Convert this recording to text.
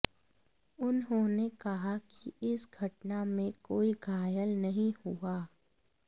उन्होंने कहा कि इस घटना में कोई घायल नहीं हुआ